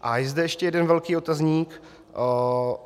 A je zde ještě jeden velký otazník.